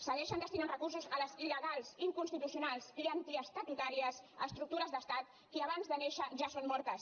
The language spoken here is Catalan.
segueixen destinant recursos a les ilconstitucionals i antiestatutàries estructures d’estat que abans de néixer ja són mortes